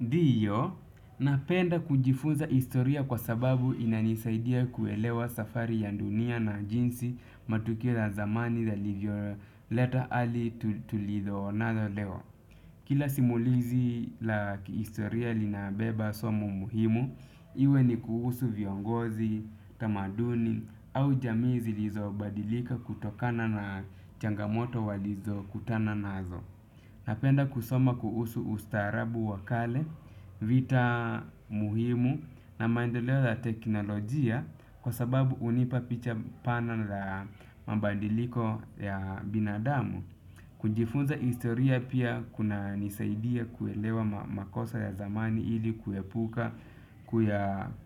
Ndiyo, napenda kujifunza historia kwa sababu inanisaidia kuelewa safari ya dunia na jinsi matokeo ya zamani yalivyo leta adi tulivyo onana leo. Kila simulizi la kihistoria linabeba somo muhimu, iwe ni kuhusu viongozi, tamaduni, au jamii zilizo badilika kutokana na changamoto walizo kutana nazo. Napenda kusoma kuhusu ustarabu wakale, vita muhimu na maendeleo ya teknolojia kwa sababu hunipa picha pana la mabadiliko ya binadamu. Kunjifunza historia pia kuna nisaidia kuelewa makosa ya zamani ili kuyaepuka